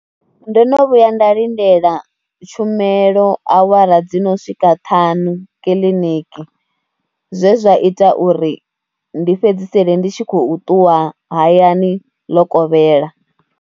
Ndo no vhuya nda lindela tshumelo awara dzi no swika ṱhanu kiḽiniki, zwe zwa ita uri ndi fhedzisele ndi tshi khou ṱuwa hayani ḽo kovhela.